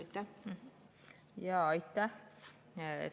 Aitäh!